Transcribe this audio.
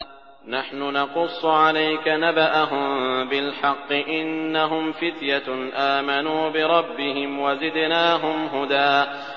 نَّحْنُ نَقُصُّ عَلَيْكَ نَبَأَهُم بِالْحَقِّ ۚ إِنَّهُمْ فِتْيَةٌ آمَنُوا بِرَبِّهِمْ وَزِدْنَاهُمْ هُدًى